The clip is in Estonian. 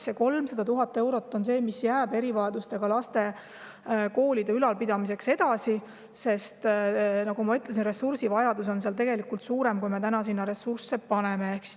See 300 000 eurot jääb erivajadustega laste koolide ülalpidamiseks ka edaspidi, sest, nagu ma ütlesin, ressursivajadus on seal tegelikult suurem, kui me täna sinna ressursse paneme.